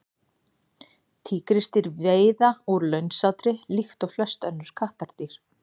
tígrisdýr veiða úr launsátri líkt og flest önnur kattardýr